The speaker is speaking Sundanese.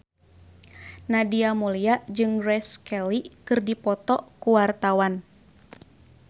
Nadia Mulya jeung Grace Kelly keur dipoto ku wartawan